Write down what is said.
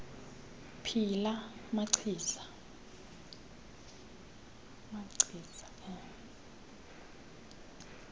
phi la machiza